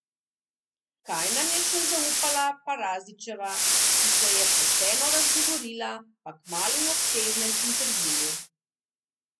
Kaj nam je še zaupala Perazićeva, ki se je pošteno razgovorila, pa kmalu v obsežnem intervjuju!